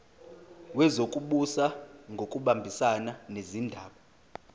wezokubusa ngokubambisana nezindaba